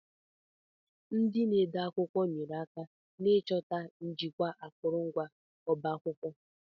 Ndị na-ede akwụkwọ nyere aka n'ịchọta na ijikwa akụrụngwa ọba akwụkwọ.